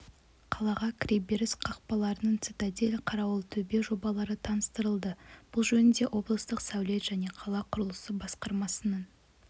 қалаға кіреберіс қақпаларының цитадель қарауылтөбе жобалары таныстырылды бұл жөнінде облыстық сәулет және қала құрылысы басқармасының